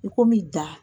I komi dan